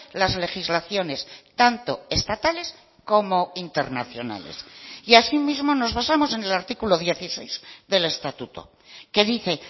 las legislaciones tanto estatales como internacionales y así mismo nos basamos en el artículo dieciséis del estatuto que dice